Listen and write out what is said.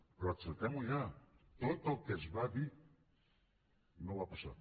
però acceptem ho ja tot el que es va dir no va passar